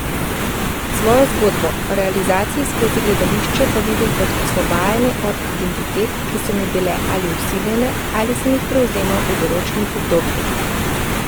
Svojo zgodbo o realizaciji skozi gledališče pa vidim kot osvobajanje od identitet, ki so mi bile ali vsiljene ali sem jih prevzemal v določenih obdobjih.